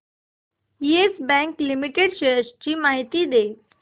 yes bank limited shares ची माहिती दे